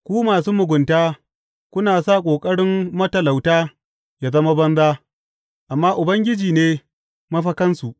Ku masu mugunta kuna sa ƙoƙarin matalauta yă zama banza, amma Ubangiji ne mafakansu.